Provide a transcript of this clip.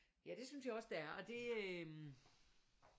Ja det synes jeg også det er og det øh